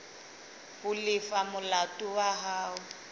ho lefa molato wa hao